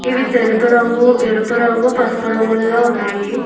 ఇవి తెలుపు రంగు ఎరుపు రంగు పసుపు రంగుల్లో ఉన్నాయి.